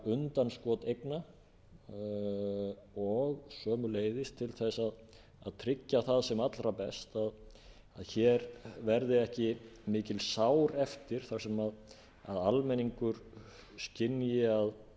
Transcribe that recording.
undanskot eigna og sömuleiðis til að tryggja það sem allra best að hér verði ekki mikil sár eftir þar sem almenningur skynji